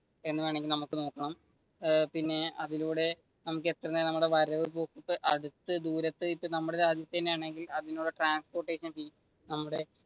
എന്നുവേണമെങ്കിൽ നമുക്ക് നോക്കാം പിന്നെ അതിലൂടെ നമുക്കെത്രയാണ് വരവ് പോക്കുകൾ